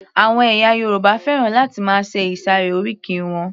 Àwọn ẹ̀yà Yorùbá fẹ́ràn láti máa ṣe ìsàré oríkì wọn